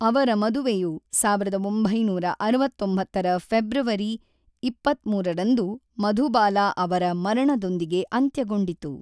ಅವರ ಮದುವೆಯು ಸಾವಿರದ ಒಂಬೈನೂರ ಅರವತ್ತೊಂಬತ್ತರ ಫೆಬ್ರವರಿ ಇಪ್ಪತ್ತ್ಮೂರರಂದು ಮಧುಬಾಲಾ ಅವರ ಮರಣದೊಂದಿಗೆ ಅಂತ್ಯಗೊಂಡಿತು.